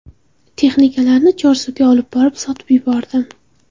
Texnikalarni Chorsuga olib borib sotib yubordim.